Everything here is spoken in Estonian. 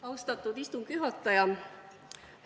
Austatud istungi juhataja!